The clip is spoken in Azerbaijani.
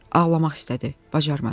Ağlamaq istədi, bacarmadı.